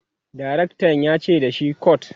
direktan yace da shi"cut!"